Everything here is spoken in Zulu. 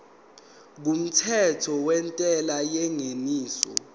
kumthetho wentela yengeniso